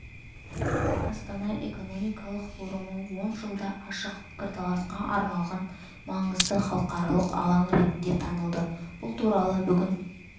астана экономикалық форумы он жылда ашық пікірталасқа арналған маңызды халықаралық алаң ретінде танылды бұл туралы бүгін